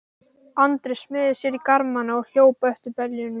Andri smeygði sér í garmana og hljóp eftir beljunum.